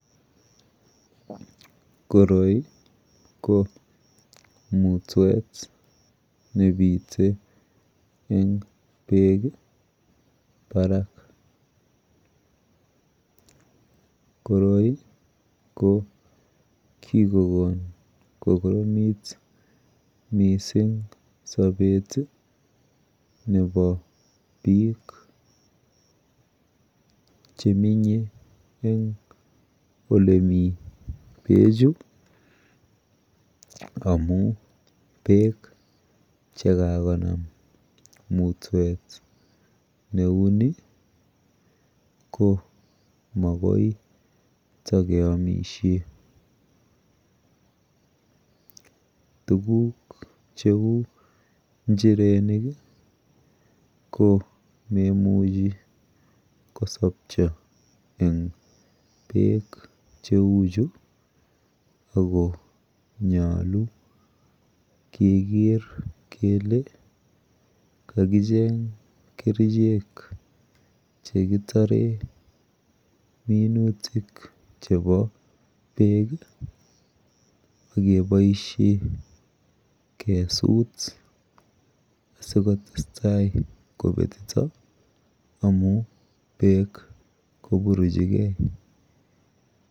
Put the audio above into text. Koroi ko mutwet nebite en bek Barak koroi ko kikokon koromit mising Sabet Nebo bik Chemenye en ole mi bek Chu amun bek chekakonam mutwet neuni ko magoi getakeyamishen tuguk cheu injirenik komemuche kosabcho en bek cheuchu akonyalu keger Kole akicheng kerchek chekiteren minutik chebo bek agebaishen kesut sikotesetai kobetito amun bek koburuchi gei